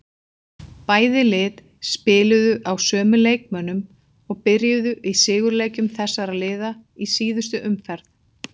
Bæði lið spiluðu á sömu leikmönnum og byrjuðu í sigurleikjum þessara liða í síðustu umferð.